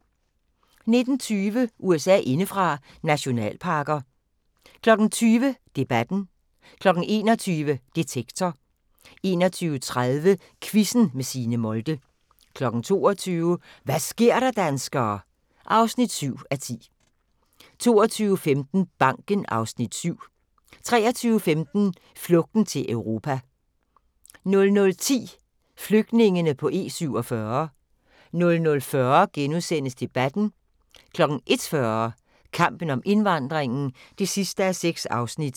19:20: USA indefra: Nationalparker 20:00: Debatten 21:00: Detektor 21:30: Quizzen med Signe Molde 22:00: Hva' sker der, danskere? (7:10) 22:15: Banken (Afs. 7) 23:15: Flugten til Europa 00:10: Flygtningene på E47 00:40: Debatten * 01:40: Kampen om indvandringen (6:6)